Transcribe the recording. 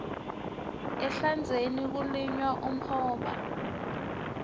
ehlandzeni kulinywa umhoba